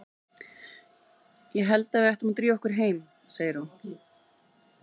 Ég held að við ættum að drífa okkur heim, segir hún.